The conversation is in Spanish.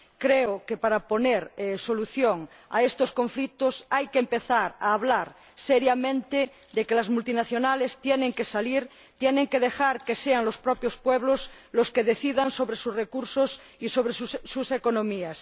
Creo que, para poner solución a estos conflictos, hay que empezar a hablar seriamente de que las multinacionales tienen que irse y dejar que sean los propios pueblos los que decidan sobre sus recursos y sobre sus economías.